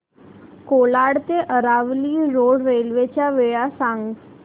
कोलाड ते Aravali road railway च्या वेळा सांग